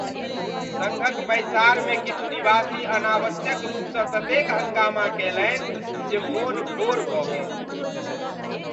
सङ्घक बैसाड़मे किछु निवासी अनावश्यक रूपसँ ततेक हँगामा कैलनि जे मोन घोर भऽ गेल।